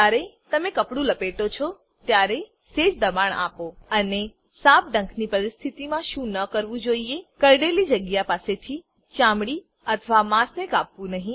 જયારે તમે કપડું લપેટો છો ત્યારે સેજ દબાણ આપો અને સાપ ડંખની પરિસ્થિતિમાં શું ન કરવું જોઈએ કરડેલી જગ્યા પાસેથી ચામડી અથવા માંસને કાપવું નહી